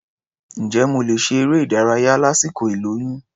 Ǹjẹ́ mo lè ṣe eré-ìdárayá lásìkò ìlóyún?